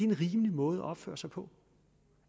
rimelig måde at opføre sig på